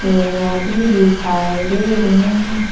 सीढ़ियां भी दिखाई दे रहे हैं।